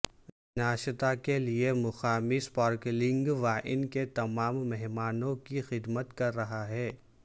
ناشتا کے لئے مقامی سپارکلنگ وائن کے تمام مہمانوں کی خدمت کر رہا ہے